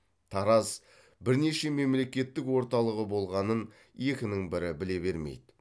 тараз бірнеше мемлекеттің орталығы болғанын екінің бірі біле бермейді